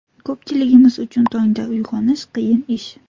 Ko‘pchiligimiz uchun tongda uyg‘onish qiyin ish.